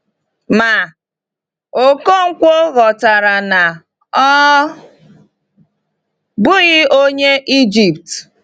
Ma, Ọkọnkwo ghọtara na ọ bụghị Onye Ijipt.